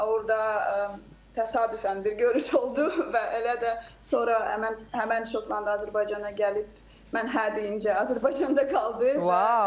Orda təsadüfən bir görüş oldu və elə də sonra həmən, həmən şotland Azərbaycana gəlib mən hər deyincə Azərbaycanda qaldı.